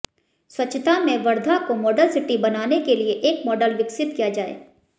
स्वच्छता में वर्धा को मॉडल सिटी बनाने के लिए एक मॉडल विकसित किया जाए